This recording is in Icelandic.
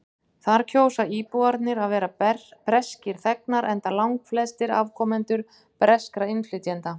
þar kjósa íbúarnir að vera breskir þegnar enda langflestir afkomendur breskra innflytjenda